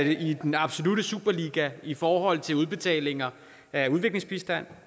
i den absolutte superliga i forhold til udbetalinger af udviklingsbistand